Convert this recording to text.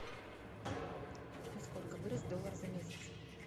на сколько вырос доллар за месяц